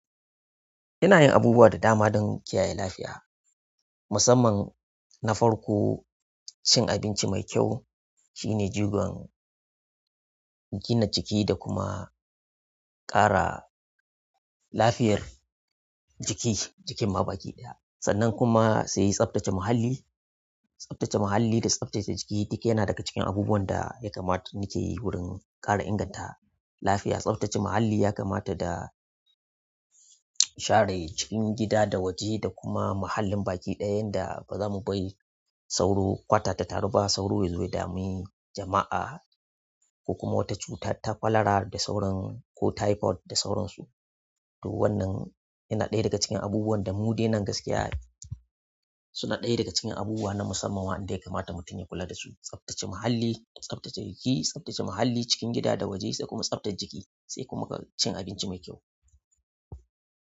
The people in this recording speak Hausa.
Ina yin abubuwa da dama don kiyaye lafiya, musamman na farko, cin abinci mai kyau shine jigon gina jiki da kuma ƙara lafiyar jiki, jikin ma baki ɗaya. Sannan kuma sai tsaftace muhalli, tsaftace muhalli da tsaftace jiki duk yana daga cikin abubuwan da ya kamata nake yi wurin ƙara inganta lafiya. Tsafta ce muhalli ya kamata da share cikin hida da waje da kuma muhallin baki ɗaya ta yadda bazamu bari sauro kwata ta taru ba sauro yazo ya dami jama'a ko kuma wata cuta ta cholera da sauran ko typhoid da sauransu. To wannan yana ɗaya daga cikin abubuwan da mu dai nan gaskiya suna ɗaya daga cikin abubuwa na musamman waɗanda ya kamata mutum ya kula da su. Tsaftace muhalli, tsaftace jiki, tsaftace muhalli cikin gida da waje sai kuma tsaftar jiki sai kuma cin abinci mai kyau.